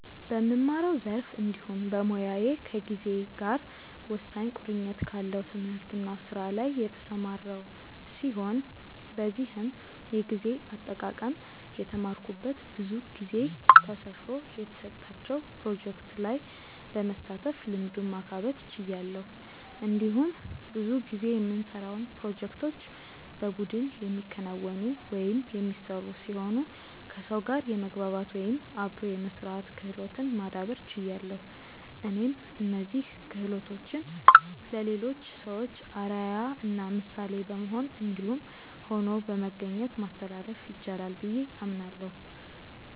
በምማረው ዘርፍ እንዲሁም በሞያዬ ከጊዜ ጋር ወሳኝ ቁርኝት ካለው ትምህርት እና ስራ ላይ የተሰማራው ሲሆን በዚህም የጊዜ አጠቃቀም የተማረኩት ብዙ ጊዜ ጊዜ ተሰፍሮ የተሰጣቸው ፕሮጀክቶች ላይ በመሳተፍ ልምዱን ማካበት ችያለሁ። እንዲሁም ብዙ ጊዜ የምንሰራውን ፕሮጀክቶች በቡድን የሚከናወኑ/የሚሰሩ ሲሆኑ ከሰው ጋር የመግባባት/አብሮ የመስራት ክህሎትን ማዳብር ችያለሁ። እኔም እነዚህን ክሆሎቶችን ለሌሎች ሰዎች አርአያ እና ምሳሌ በመሆን እንዲሁም ሆኖ በመገኘት ማስተላለፍ ይቻላል ብዬ አምናለሁ።